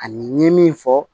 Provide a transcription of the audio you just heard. Ani n ye min fɔ